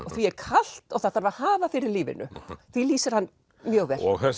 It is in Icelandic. og því er kalt og það þarf að hafa fyrir lífinu því lýsir hann mjög vel og